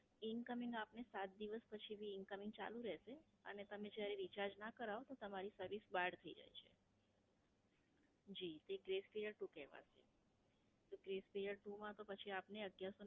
Incoming આપને સાત દિવસ પછી ભી Incoming ચાલુ રહેશે. અને જયારે તમે Recharge ના કરાવો તો તમારી Service બહાર થાય જાય છે. જી, એ Bress period two કહેવાશે. તો Bress period two માં તો પછી આપને અગિયારસો ને